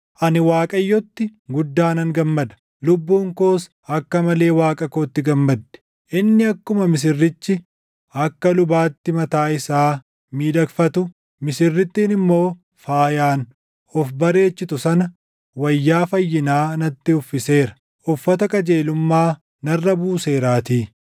Ani Waaqayyo itti guddaa nan gammada; lubbuun koos akka malee Waaqa kootti gammaddi. Inni akkuma misirrichi akka lubaatti mataa isaa miidhagfatu, misirrittiin immoo faayaan of bareechitu sana, wayyaa fayyinaa natti uffiseera uffata qajeelummaa narra buuseeraatii.